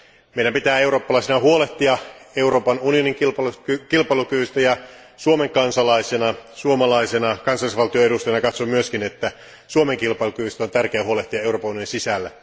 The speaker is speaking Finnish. Meidän pitää eurooppalaisina huolehtia Euroopan unionin kilpailukyvystä, ja Suomen kansalaisena, suomalaisena, kansallisvaltion edustajana katson myös, että Suomen kilpailukyvystä on tärkeää huolehtia Euroopan unionin sisällä.